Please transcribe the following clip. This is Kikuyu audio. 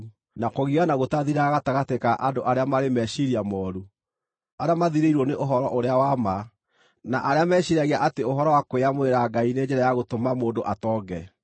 na kũgiana gũtathiraga gatagatĩ ka andũ arĩa marĩ meciiria mooru, arĩa mathirĩirwo nĩ ũhoro-ũrĩa-wa-ma, na arĩa meciiragia atĩ ũhoro wa kwĩyamũrĩra Ngai nĩ njĩra ya gũtũma mũndũ atonge.